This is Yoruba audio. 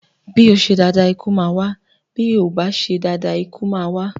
Bí o ṣe dáadáa ikú máa wà, bí o ò bá ṣe dáadáa ikú máa wá.